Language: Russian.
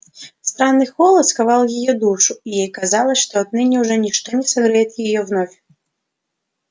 странный холод сковал её душу и ей казалось что отныне уже ничто не согреет её вновь